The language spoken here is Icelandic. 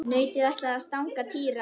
Nautið ætlaði að stanga Týra.